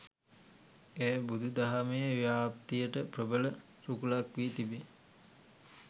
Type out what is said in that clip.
එය බුදු දහමේ ව්‍යාප්තියට ප්‍රබල රුකුලක් වී තිබේ.